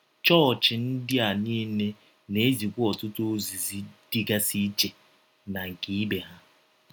Chọọchị ndị a niile na - ezikwa ọtụtụ ozizi dịgasị iche na nke ibe ha.